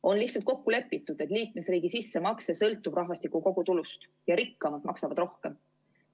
On lihtsalt kokku lepitud, et liikmesriigi sissemakse sõltub rahvastiku kogutulust ja rikkamad maksavad rohkem.